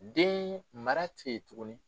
Den mara te yen tuguni